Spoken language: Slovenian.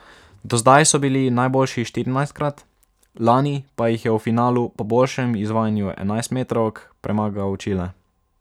Do zdaj so bili najboljši štirinajstkrat, lani pa jih je v finalu po boljšem izvajanju enajstmetrovk premagal Čile.